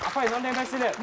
апай мынандай мәселе